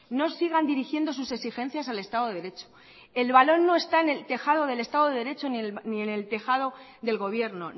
no sigan dirigiendo sus exigencias al estado de derecho el balón no está en el tejado del estado de derecho ni en el tejado del gobierno